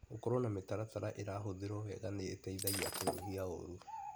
Gũkorwo na mĩtaratara irahuthĩrwo wega nĩ ĩteithagia kũnyihia ũru.